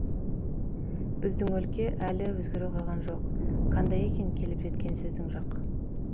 біздің өлке әлі өзгере қойған жоқ қандай екен келіп жеткен сіздің жақ